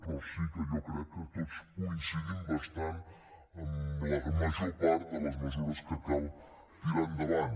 però sí que jo crec que tots coincidim bastant en la major part de les mesures que cal tirar endavant